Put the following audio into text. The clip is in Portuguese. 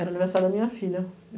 Era aniversário da minha filha.